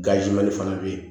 fana bɛ yen